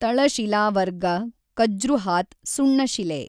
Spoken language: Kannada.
ತಳಶಿಲಾವರ್ಗ ಕಜ್ರುಹಾತ್ ಸುಣ್ಣಶಿಲೆ